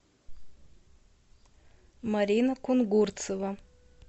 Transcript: марина кунгурцева